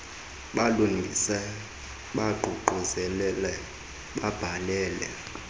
balungise baququzelele babhale